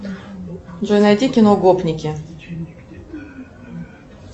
джой найди кино гопники